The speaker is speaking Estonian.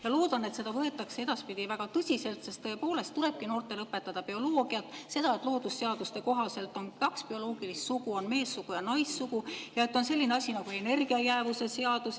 Ma loodan, et seda võetakse edaspidi väga tõsiselt, sest tõepoolest tulebki noortele õpetada bioloogiat, seda, et loodusseaduste kohaselt on kaks bioloogilist sugu, on meessugu ja naissugu, ja et on selline asi nagu energia jäävuse seadus.